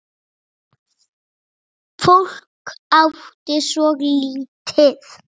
Fólk átti svo lítið.